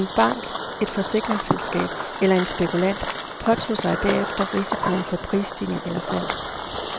En bank, et forsikringsselskab eller en spekulant påtog sig derefter risikoen for prisstigninger eller fald.